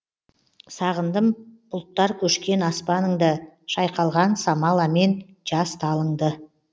сағындым бұлттар көшкен аспаныңды шайқалған самаламен жас талыңды